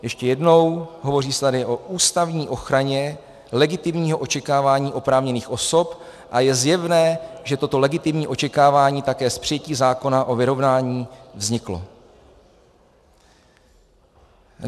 - Ještě jednou, hovoří se tady o ústavní ochraně legitimního očekávání oprávněných osob a je zjevné, že toto legitimní očekávání také s přijetím zákona o vyrovnání vzniklo.